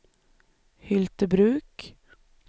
Hyltebruk